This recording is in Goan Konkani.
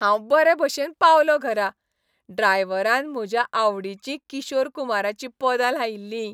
हांव बरे भशेन पावलो घरा. ड्रायव्हरान म्हज्या आवडीचीं किशोर कुमाराचीं पदां लायिल्ली.